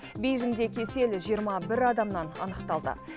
бейжіңде кесел жиырма бір адамнан анықталды